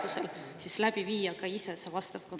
… ja vajadusel siis läbi viia ka ise see vastav kontroll.